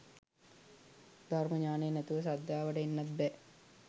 ධර්ම ඤාණය නැතුව ශ්‍රද්ධාවට එන්නත් බෑ